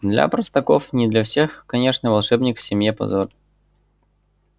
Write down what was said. для простаков не для всех конечно волшебник в семье позор